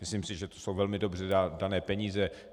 Myslím si, že to jsou velmi dobře dané peníze.